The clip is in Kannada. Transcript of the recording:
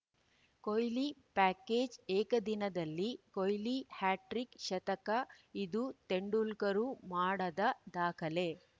ಕೊಹ್ಲಿ ಪ್ಯಾಕೇಜ್‌ ಏಕದಿನದಲ್ಲಿ ಕೊಹ್ಲಿ ಹ್ಯಾಟ್ರಿಕ್‌ ಶತಕ ಇದು ತೆಂಡುಲ್ಕರೂ ಮಾಡದ ದಾಖಲೆ